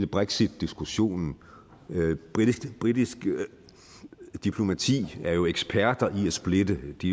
brexitdiskussionen britisk britisk diplomati er jo eksperter i at splitte de